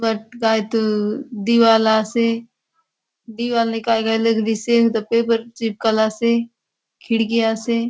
ए बाट कायतो दीवाल आसे दीवाल ने काय काय लगलिसे हुथा पेपर चिपकाला से खिड़की आसे।